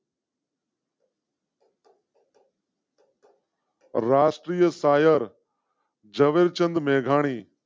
રાષ્ટ્રીય શાયર. ઝવેર ચંદ મેઘાણી